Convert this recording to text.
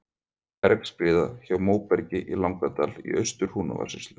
Bergskriða hjá Móbergi í Langadal í Austur-Húnavatnssýslu.